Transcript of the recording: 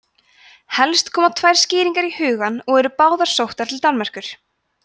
helst koma tvær skýringar í hugann og eru báðar sóttar til danmerkur